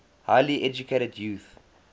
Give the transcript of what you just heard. highly educated youth